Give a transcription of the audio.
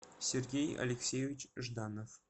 сергей алексеевич жданов